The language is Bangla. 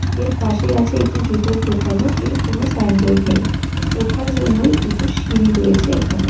এর পাশেই আছে একটি জুতোর দোকানও এর কোনো সাইন বোর্ড নেই ওঠার জন্যই দুটো সিঁড়ি রয়েছে এখানে.